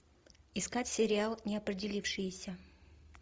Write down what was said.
искать сериал неопределившиеся